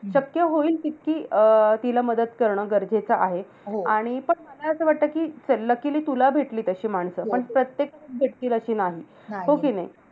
शक्य होईल तितकी अं तिला मदत कारण गरजेचं आहे. पण मला असं वाटतं, कि luckily तुला भेटली तशी माणसं. पण प्रत्येक व्यक्तीला ती नाही. हो कि नाही.